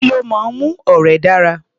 Kí ló máa ń mú ọ̀rẹ́ dára?